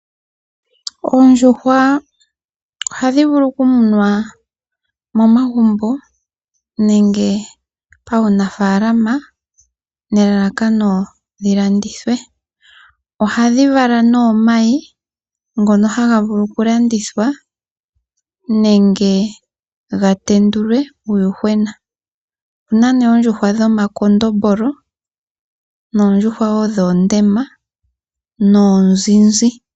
Oondjuhwa ohadhi vulu oku munwa monagumbo nenge pawunafaalama nelalakano dhilandithwe. Ohadhi vala nee omayi ngono haga vulu oku landithwa nenge ga tendulwe uuyuhwene. Opena nee oondjuhwa dhomakondombolo, noondjuhwa wo dhoondema noonzinzi.